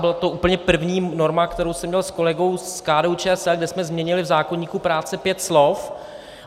Byla to úplně první norma, kterou jsem měl s kolegou z KDU-ČSL, kde jsme změnili v zákoníku práce pět slov.